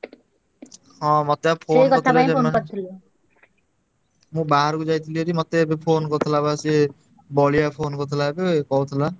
ହଁ ମତେ ବା phone କରିଥିଲେ। ମୁଁ ବାହାରକୁ ଯାଇଥିଲି ଯଦି ମତେ ଏବେ phone କରିଥିଲା ବା ସିଏ ବଳିଆ phone କରିଥିଲା ଏବେ କହୁଥିଲା।